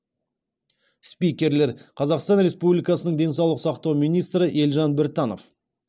спикерлер қазақстан республикасы денсаулық сақтау министрі елжан біртанов